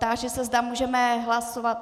Táži se, zda můžeme hlasovat...